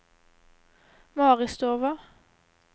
Maristova